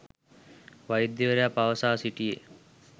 වෛද්‍යවරයා පවසා සිටියේ